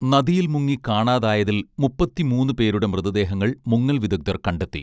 നദിയിൽ മുങ്ങി കാണാതായതിൽ മുപ്പത്തി മൂന്നു പേരുടെ മൃതദേഹങ്ങൾ മുങ്ങൽ വിദഗ്ദ്ധർ കണ്ടെത്തി